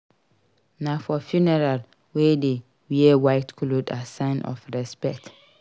Na for funeral we dey wear white cloth as sign of respect.